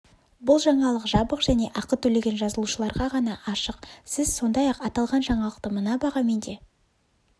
бұл жаңалық жабық және ақы төлеген жазылушыларға ғана ашық сіз сондай-ақ аталған жаңалықты мына бағамен де